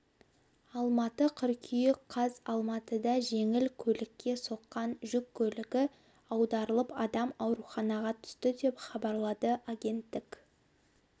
алматы қыркүйек қаз алматыда жеңіл көлікке соққан жүк көлігі аударылып адам ауруханаға түсті деп хабарлады агенттік